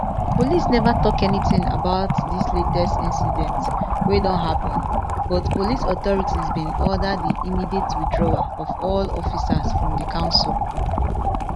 police never tok anytin about dis latest incidents wey don happen but police authorities bin order di immediate withdrawal of all officers from di council